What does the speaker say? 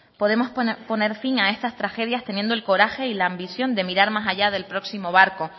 podemos poner fin a estas tragedias teniendo el coraje y la ambición de mirar más allá del próximo barco